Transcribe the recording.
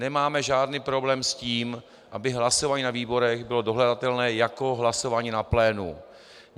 Nemáme žádný problém s tím, aby hlasování na výborech bylo dohledatelné jako hlasování na plénu.